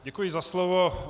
Děkuji za slovo.